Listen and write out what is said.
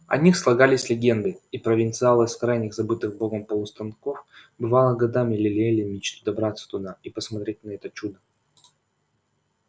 о них слагались легенды и провинциалы с крайних забытых богом полустанков бывало годами лелеяли мечту добраться туда и посмотреть на это чудо